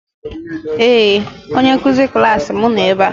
Ee! Onye nkụzi klaasị m nọ ebe a.